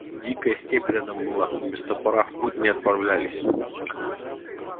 дикая степь рядом была без топора в путь не отправлялись